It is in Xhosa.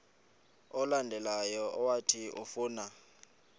olandelayo owathi ufuna